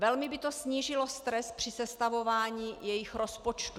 Velmi by to snížilo stres při sestavování jejich rozpočtu.